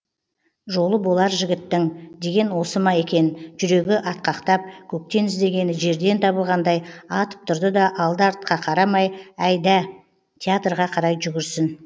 жолы болар жігіттің деген осы ма екен жүрегі атқақтап көктен іздегені жерден табылғандай атып тұрды да алды артқа қарамай әйда театрға қарай жүгірсін